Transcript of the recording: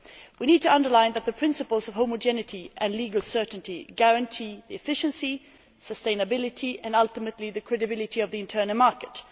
We need to underline that the principles of homogeneity and legal certainty guarantee efficiency, sustainability and, ultimately, the credibility of the internal market.